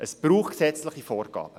Es braucht gesetzliche Vorgaben.